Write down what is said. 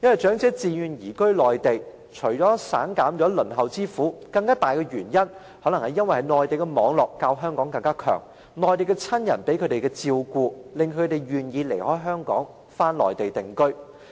長者自願移居內地，除了省減輪候之苦外，更大的原因，可能是他們在內地的網絡較香港廣，他們在內地的親人可以給予更好照顧，使他們願意離開香港返回內地定居。